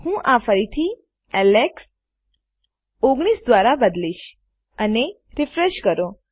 હું આ ફરીથી એલેક્સ 19 દ્વારા બદલીશ અને રીફ્રેશ કરો